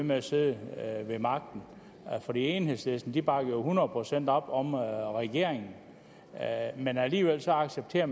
med at sidde ved magten for enhedslisten bakker jo hundrede procent op om regeringen men alligevel accepterer